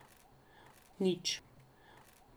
Nič.